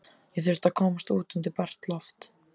Ég þurfti að komast út undir bert loft.